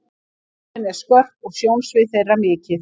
Sjónin er skörp og sjónsvið þeirra mikið.